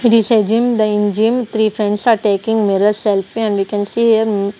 it is a gym the in gym three friends are taking mirror selfie and we can see him.